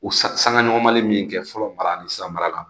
O saŋa ɲɔgɔnmali min kɛ fɔlɔ mara nin sira mara la